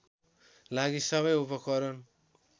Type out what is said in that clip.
लागि सबै उपकरण